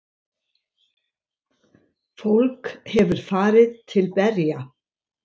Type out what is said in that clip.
Fólk hefur farið til berja.